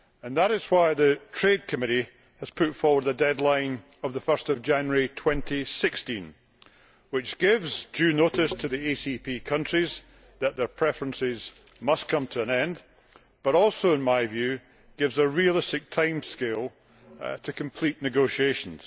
That is why the Trade Committee has put forward the deadline of 1 January 2016 which gives due notice to the ACP countries that their preferences must come to an end but also, in my view, gives a realistic timescale to complete negotiations.